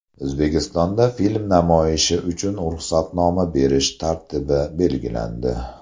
O‘zbekistonda film namoyishi uchun ruxsatnoma berish tartibi belgilandi.